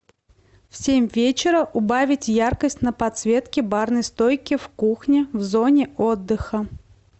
в семь вечера убавить яркость на подсветке барной стойки в кухне в зоне отдыха